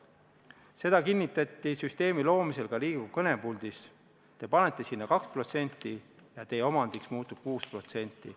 Seda kinnitati süsteemi loomisel ka Riigikogu kõnepuldist: te panete sinna 2% ja teie omandiks muutub 6%.